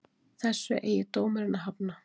Þessu eigi dómurinn að hafna